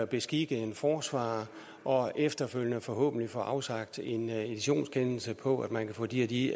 beskikke en forsvarer og efterfølgende forhåbentlig få afsagt en editionskendelse på at man kan få de og de